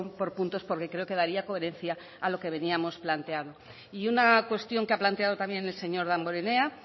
por puntos porque creo que daría coherencia a lo que veníamos planteando y una cuestión que ha planteado también el señor damborenea